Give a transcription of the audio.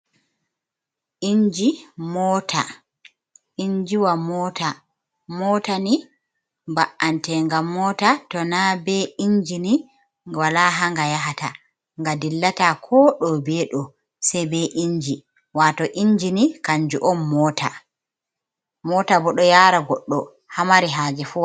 Inji moota, injiwa moota, moota ni ba’ante nga moota, mota to na be injini wala haa nga yahata, nga dillata koo ɗo be ɗo, sey be inji, waato inji ni kanjum on moota, moota bo ɗo yaara goɗɗo haa mari haaje fuuh.